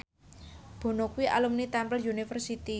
Bono kuwi alumni Temple University